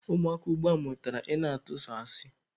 Ụmụaka ugbua mụtara ị na-ịtụ sọ asị.